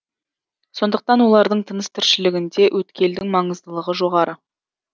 сондықтан олардың тыныс тіршілігінде өткелдің маңыздылығы жоғары